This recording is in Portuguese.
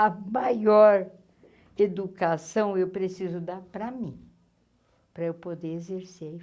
A maior educação eu preciso dar para mim, para eu poder exercer.